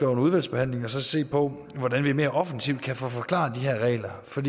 under udvalgsbehandlingen at se på hvordan vi mere offensivt kan få forklaret de her regler for